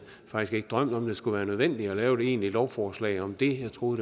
drømt om at det skulle være nødvendigt at lave et egentligt lovforslag om det jeg troede